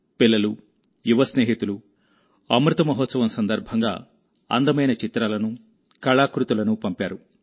పిల్లలు యువ స్నేహితులు అమృత మహోత్సవం సందర్భంగా అందమైన చిత్రాలను కళాకృతులను పంపారు